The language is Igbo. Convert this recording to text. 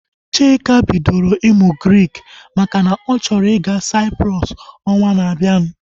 Chika bidoro ịmụ Grik makana ọ chọrọ ịga Cyprus ọnwa na abianu